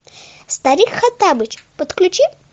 старик хоттабыч подключи